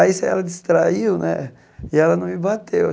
Aí ela distraiu né e ela não me bateu.